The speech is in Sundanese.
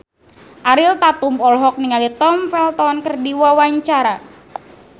Ariel Tatum olohok ningali Tom Felton keur diwawancara